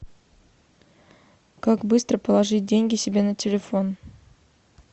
как быстро положить деньги себе на телефон